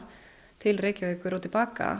til Reykjavíkur og til baka